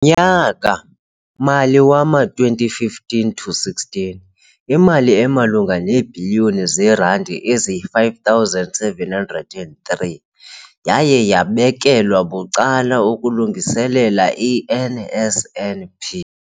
nyaka-mali wama-2015 to 16, imali emalunga neebhiliyoni zeerandi eziyi-5 703 yaye yabekelwa bucala ukulungiselela i-NSNP.